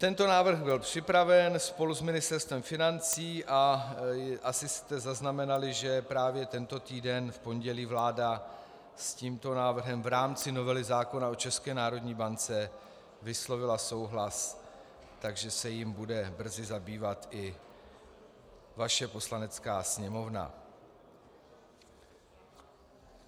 Tento návrh byl připraven spolu s Ministerstvem financí a asi jste zaznamenali, že právě tento týden v pondělí vláda s tímto návrhem v rámci novely zákona o České národní bance vyslovila souhlas, takže se jím bude brzy zabývat i vaše Poslanecká sněmovna.